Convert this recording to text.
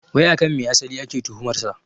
Wai akan me asali ake tuhumar sa?